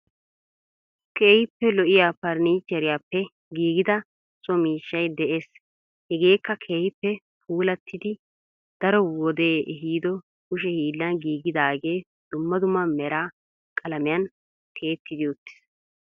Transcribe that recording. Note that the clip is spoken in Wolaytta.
Keehippe lo'iya parnichcheeriyappe giggida so miishshay de'ees. Hegeekka keehippe puulattidi daro wode ehiido kushee hiillan giggidaagee dummaa dummaa meraa qalaamiyaan tiyettidi uttiis.